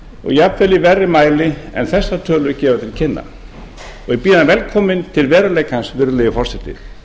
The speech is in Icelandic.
jafnvel í verri mæli en þessar tölur gefa til kynna ég býð hann velkominn til veruleikans virðulegi forseti